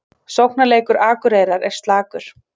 Sóknarleikur Akureyrar er slakur